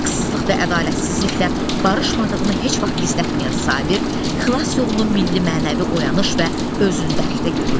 Haqsızlıq və ədalətsizliklə barışmadığını heç vaxt gizlətməyən Sabir xilas yolunu milli-mənəvi oyanış və özünü dərkdə görürdü.